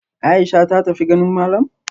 Aisha ta tafi ganin malam?